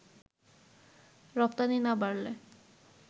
রপ্তানি না বাড়লে